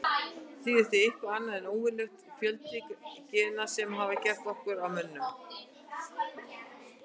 Það er því eitthvað annað en óvenjulegur fjöldi gena sem hefur gert okkur að mönnum.